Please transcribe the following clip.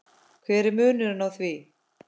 hver er munurinn á því?